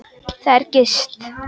Þar er gist.